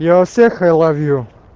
я всех ай лав ю